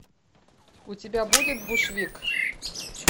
у тебя будет бушвик